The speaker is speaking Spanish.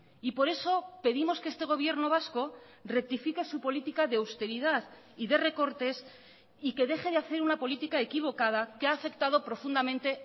y por eso pedimos que este gobierno vasco rectifique su política de austeridad y de recortes y que deje de hacer una política equivocada que ha afectado profundamente